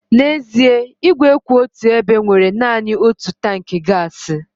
N'ezie, ígwè kwụ otù ebe nwere naanị otu tankị gaasị.